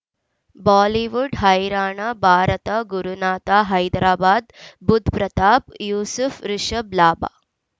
Bollywood ಹೈರಾಣ ಭಾರತ ಗುರುನಾಥ ಹೈದರಾಬಾದ್ ಬುಧ್ ಪ್ರತಾಪ್ ಯೂಸುಫ್ ರಿಷಬ್ ಲಾಭ